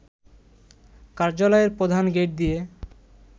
কার্যালয়ের প্রধান গেইট দিয়ে